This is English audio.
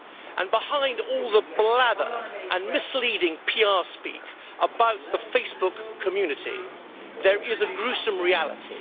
And behind all the blather and misleading PR speak about the Facebook community' there is a gruesome reality.